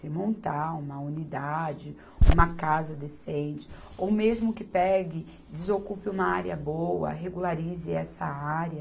Se montar uma unidade, uma casa decente, ou mesmo que pegue, desocupe uma área boa, regularize essa área.